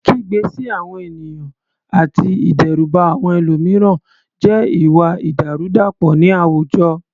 Kígbe sí àwọn ènìyàn àti ìdẹ́rùbà àwọn ẹlòmíràn jẹ́ ìwà ìdàrúdàpọ̀ ní àwùjọ.